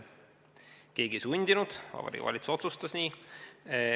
Keegi ei sundinud, Vabariigi Valitsus otsustas nii.